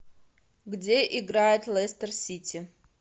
где играет лестер сити